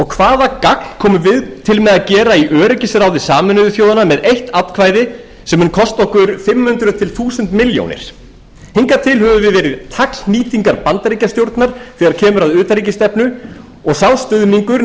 hvaða gagn komum við til með að gera í öryggisráði sameinuðu þjóðanna með eitt atkvæði sem mun kosta okkur fimm hundruð þúsund milljón hingað til höfum við verið taglhnýtingar bandaríkjastjórnar þegar kemur að utanríkisstefnu og sá stuðningur